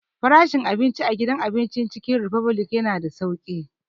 Frashin abinci a gidan abincin Cikin ripublic ya na da sauƙi